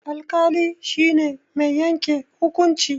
Alƙali shi ne mai yanke hukunci.